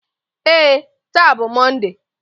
Ee, taa bụ Mọnde.